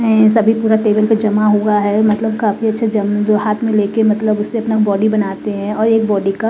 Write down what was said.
ऐंय सभी पूरा टेबल पर जमा हुआ है मतलब काफी अच्छा जम जो हाथ में लेके मतलब उसे अपना बॉडी बनाते हैं और एक बॉडी का --